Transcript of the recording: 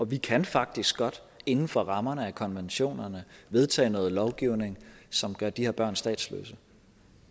vi kan faktisk godt inden for rammerne af konventionerne vedtage noget lovgivning som gør de her børn statsløse